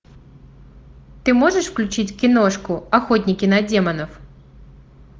ты можешь включить киношку охотники на демонов